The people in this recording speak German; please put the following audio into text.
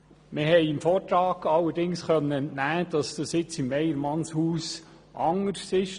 Wir konnten dem Vortrag allerdings entnehmen, dass es in Weyermannshaus anders ist.